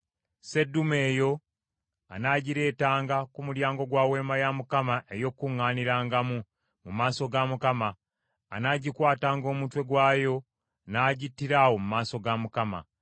Sseddume eyo anaagireetanga ku mulyango gwa Weema ey’Okukuŋŋaanirangamu, mu maaso ga Mukama ; anaagikwatanga omutwe gwayo n’agittira awo mu maaso ga Mukama .